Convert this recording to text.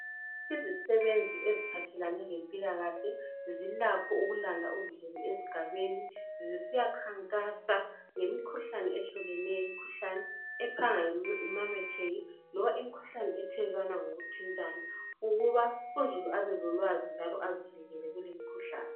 Izisebenzi eziphathelane lempilakahle zilakho ukulanda uzulu esigabeni zisiyakhankasa ngemikhuhlane ephanga imametheke imikhuhlane othelelwana ngokuthintana ukuba uzulu abelolwazi njalo azivikele kulimkhuhlane.